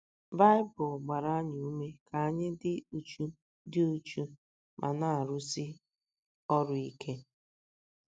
Baịbụl gbara anyị ume ka anyị dị uchu dị uchu ma na - arụsi ọrụ ike.